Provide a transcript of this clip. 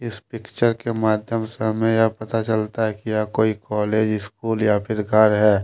इस पिक्चर के माध्यम से हमें यह पता चलता है कि यह कोई कॉलेज स्कूल या फिर घर है।